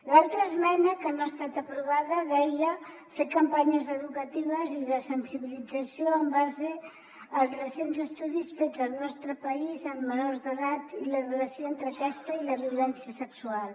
l’altra esmena que no ha estat aprovada deia fer campanyes educatives i de sensibilització en base als recents estudis fets al nostre país sobre els efectes de la pornografia en menors d’edat i la relació entre aquesta i la violència sexual